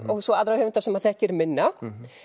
svo aðra höfunda sem maður þekkir minna